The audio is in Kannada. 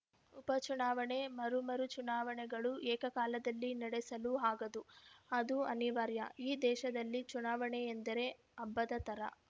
ಉಪಚುನಾವಣೆ ಮರು ಮರುಚುನಾವಣೆಗಳು ಏಕಕಾಲದಲ್ಲಿ ನಡೆಸಲು ಆಗದು ಅದು ಅನಿವಾರ್ಯ ಈ ದೇಶದಲ್ಲಿ ಚುನಾವಣೆ ಎಂದರೆ ಹಬ್ಬದ ತರ